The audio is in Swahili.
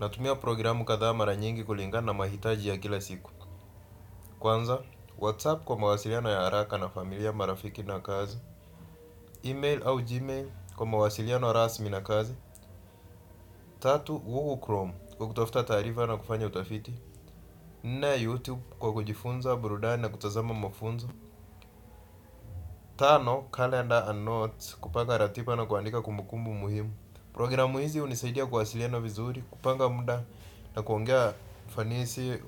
Natumia programu kadhaa mara nyingi kulingana mahitaji ya kila siku. Kwanza, WhatsApp kwa mawasiliano ya haraka na familia, marafiki na kazi. Email au Gmail kwa mawasiliano rasmi na kazi. Tatu, Google Chrome kwa kutafuta taarifa na kufanya utafiti. Nne, YouTube kwa kujifunza, burudani na kutazama mafunzo. Tano, Calendar and Notes kupanga ratiba na kuandika kumbukumbu muhimu. Programu hizi hunisaidia kuwasiliana vizuri, kupanga mda na kuongea ufanisi